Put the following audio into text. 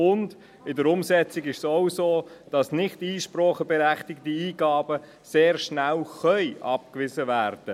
Zudem können bereits heute im Vollzug nicht einspracheberechtigte Eingaben sehr schnell abgewiesen werden.